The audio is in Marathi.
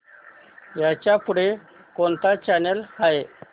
ह्याच्या पुढे कोणता चॅनल आहे